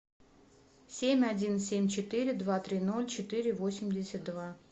семь один семь четыре два три ноль четыре восемьдесят два